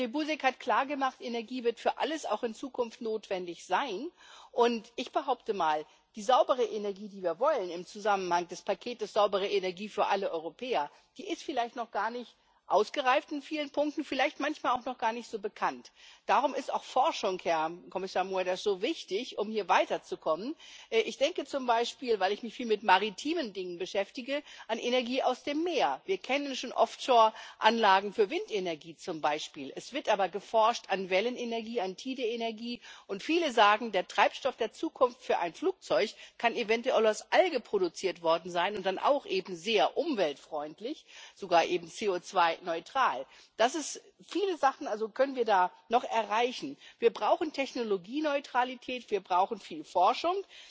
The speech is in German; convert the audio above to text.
Jerzy Buzek hat klargemacht Energie wird für alles auch in Zukunft notwendig sein. Und ich behaupte mal, die saubere Energie, die wir im Zusammenhang mit dem Paket Saubere Energie für alle Europäer wollen, ist vielleicht in vielen Punkten noch gar nicht ausgereift, vielleicht manchmal auch noch gar nicht so bekannt. Darum, Herr Kommissar Moedas, ist auch Forschung so wichtig, um hier weiterzukommen. Ich denke zum Beispiel weil ich mich viel mit maritimen Dingen beschäftige an Energie aus dem Meer. Wir kennen schon Offshore Anlagen für Windenergie zum Beispiel. Es wird aber geforscht an Wellenenergie, an Tide Energie, und viele sagen, der Treibstoff der Zukunft für ein Flugzeug kann eventuell aus Algen produziert worden sein, und dann auch eben sehr umweltfreundlich, sogar eben CO2 neutral. Viele Sachen können wir da noch erreichen. Wir brauchen Technologieneutralität, wir brauchen viel Forschung.